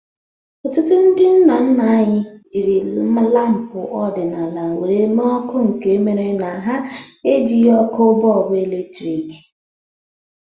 Ọtụtụ ndị nna nna anyị jiri lampu ọdịnala were mee ọkụ nke mere na ha ejighi ọkụ bọlbụ eletrik